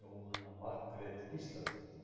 Jóhanna Margrét Gísladóttir: